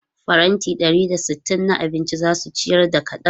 Faranti ɗari da sittin na abinci za su ciyar da kaɗan.